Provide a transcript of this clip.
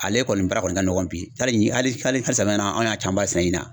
Ale kɔni baara kɔni ka nɔgɔn bi tari hali hali samiya in na an y'a camanba sɛnɛ ɲina